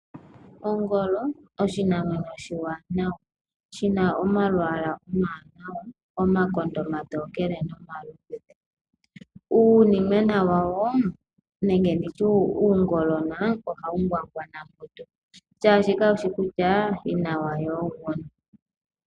Ongolo oshinamwenyo oshiwanawa shina omalwaala omawanawa omakonde omatokele nomaludhe. Uunimona wawo nenge nditye uungolona ohawu ngwangwana mutu shaashika kawushi kutya yina gwawo oguni.